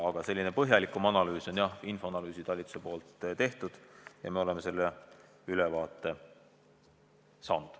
Aga selline põhjalikum analüüs on meie analüüsiosakonnas tehtud ja me oleme selle ülevaate saanud.